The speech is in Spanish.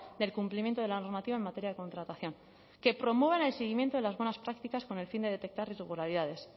del cumplimiento de la normativa en materia de contratación que promuevan el seguimiento de las buenas prácticas con el fin de detectar irregularidades